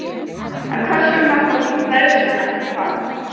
En hvers vegna fór færslan ekki fram?